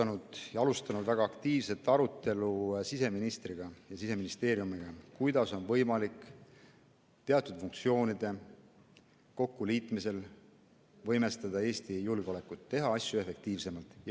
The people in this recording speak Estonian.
Me oleme alustanud väga aktiivset arutelu siseministriga ja Siseministeeriumiga, kuidas on võimalik teatud funktsioonide kokkuliitmisel võimestada Eesti julgeolekut ja teha asju efektiivsemalt.